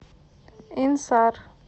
инсар